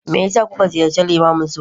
me yasa kuka ziyarci limamin su?